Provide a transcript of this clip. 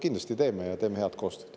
Kindlasti teeme koostööd, ja head koostööd.